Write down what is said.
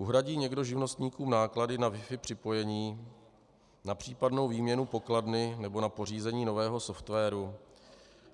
Uhradí někdo živnostníkům náklady na wifi připojení, na případnou výměnu pokladny nebo na pořízení nového softwaru,